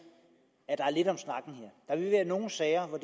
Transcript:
at vil være nogle sager hvor